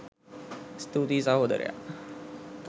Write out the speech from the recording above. ස්තුතියි සහෝදරයා